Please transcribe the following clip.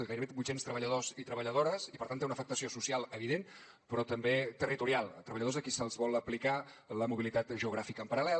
gairebé vuit cents treballadors i treballadores i per tant té una afectació social evident però també territorial treballadors a qui se’ls vol aplicar la mobilitat geogràfica en paral·lel